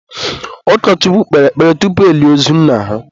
ụkọchukwu kpere ekpere tupu elie ozu nna ha